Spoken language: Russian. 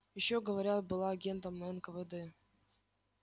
ещё говорят была агентом нквд